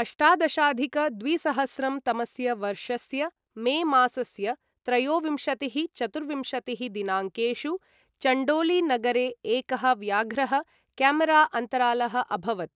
अष्टादशाधिक द्विसहस्रं तमस्य वर्षस्य मे मासस्य त्रयोविंशतिः, चतुर्विंशतिः दिनाङ्केषु चण्डोली नगरे एकः व्याघ्रः कॅमेरा अन्तरालः अभवत्,